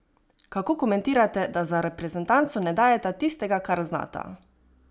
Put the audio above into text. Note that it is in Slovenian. Kako komentirate, da za reprezentanco ne dajeta tistega, kar znata?